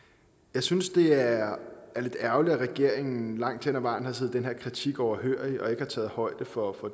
jeg synes det er lidt ærgerligt at regeringen langt hen af vejen har siddet den her kritik overhørig og ikke har taget højde for